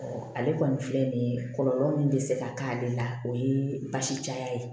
ale kɔni filɛ nin ye kɔlɔlɔ min bɛ se ka k'ale la o ye basi caya ye